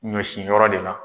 Ɲɔ sin yɔrɔ de la.